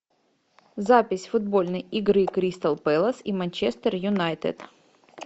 запись футбольной игры кристал пэлас и манчестер юнайтед